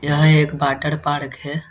यह एक water park है।